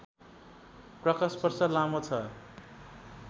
प्रकाशवर्ष लामो छ